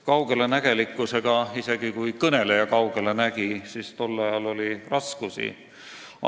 " Kaugelenägelikkusega, isegi kui kõneleja kaugele nägi, oli tol ajal raskusi.